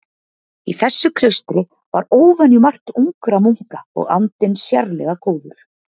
Í þessu klaustri var óvenjumargt ungra munka og andinn sérlega góður.